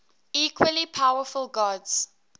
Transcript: equally powerful gods